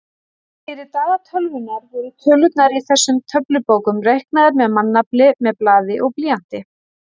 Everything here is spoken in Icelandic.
Fyrir daga tölvunnar voru tölurnar í þessum töflubókum reiknaðar með mannafli með blaði og blýanti.